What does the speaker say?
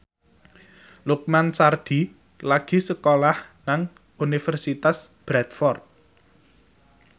Lukman Sardi lagi sekolah nang Universitas Bradford